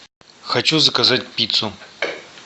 хочу заказать пиццу